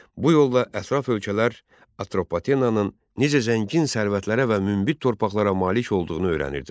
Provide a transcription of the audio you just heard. Bu yolla ətraf ölkələr Atropatenanın necə zəngin sərvətlərə və münbit torpaqlara malik olduğunu öyrənirdilər.